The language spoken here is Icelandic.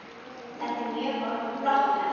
Þetta er mjög flott verk.